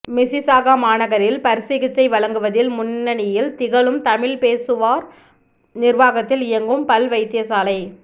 Mississauga மாநகரில் பற்சிகிச்சை வழங்குவதில் முன்னணியில் திகழும் தமிழ் பேசுவோர் நிர்வாகத்தில் இயங்கும் பல் வைத்தியசாலை